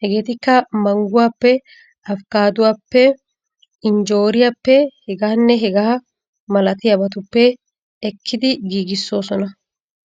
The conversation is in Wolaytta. Hegeetikka, mangguwappe, afikkaattuwappe injjooriyappe hegaanne hegaa malatiyabaappe ekettidi giigoosona.